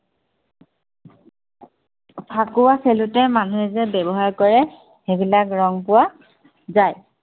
ফাকুৱা খেলোতে মানুহে যে ব্য়ৱহাৰ কৰে, সেইবিলাক ৰং পোৱা যায়।